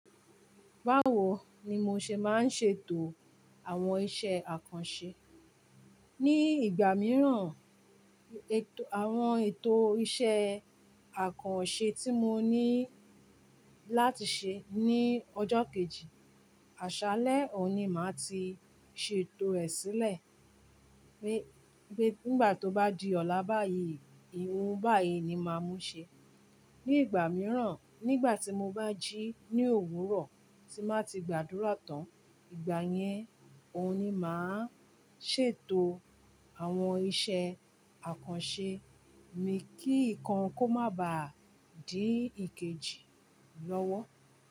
Báwo ni mo ṣe máa ń ṣe ètò àwọn iṣẹ́ àkànṣe? Ni ìgbà mìíràn, ètò àwọn ètò iṣẹ́ àkànṣe tí mo ní láti ṣe ní ọjọ́ kejì, àṣálẹ́ òní máa ti ṣe ètò rẹ̀ sílẹ̀. Pé nígbà tó bá di ọ̀la báyìí, ohun báyìí ni máa mú ṣe. Ni ìgbà mìíràn, nígbà tí mo bá jí ní òwúrọ̀ tí máa ti gbàdúrà tán, ìgbà yẹn òun ní máa ń ṣe ètò àwọn iṣẹ́ àkànṣe mi kí nǹkan kó má ba à dí ìkejì lọ́wọ́